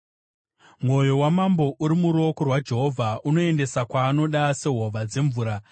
Mwoyo wamambo uri muruoko rwaJehovha; anouendesa kwaanoda sehova dzemvura.